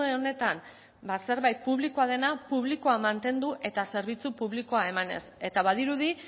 honetan zerbait publikoa dena publikoa mantendu eta zerbitzu publikoa emanez eta badirudi